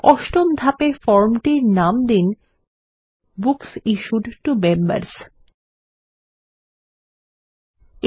অষ্টম ধাপে ফর্ম টির নাম দিন বুকস ইশ্যুড টো মেম্বার্স ল্টপাউসেগ্ট